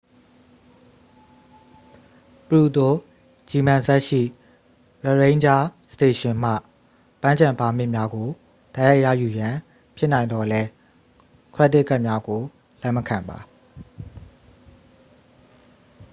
ပရူတို ဂျီမန်ဇက်စ် ရှိ ရရိန်းဂျားစတေရှင်မှ ပန်းခြံပါမစ်များကို တိုက်ရိုက်ရယူရန် ဖြစ်နိုင်သော်လည်း ခရက်ဒစ်ကဒ်များကို လက်မခံပါ